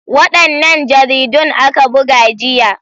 Wadannan jaridun aka buga jiya.